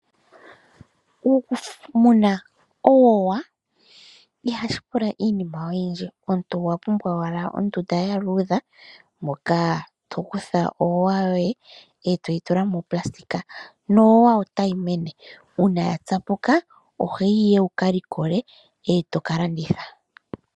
Okumuna owoya ihashi pula iinima oyindji omuntu owa pumbwa owala ondunda ya luudha moka to kutha oowa yoye toyi tula monayilona nowoya otayi mene uuna ya tsapuka ohoyi ihe wukalikole eto kalanditha.